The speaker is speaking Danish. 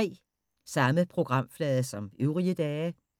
Samme programflade som øvrige dage